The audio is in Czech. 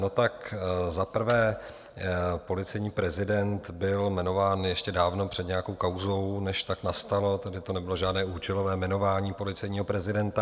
No, tak za prvé, policejní prezident byl jmenován ještě dávno před nějakou kauzou, než tak nastalo, tady to nebylo žádné účelové jmenování policejního prezidenta.